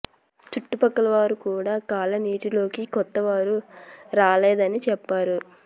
చుట్టుపక్కల వారు కూడా కాలనీలోకి కొత్త వారు రాలేదని చెప్పారు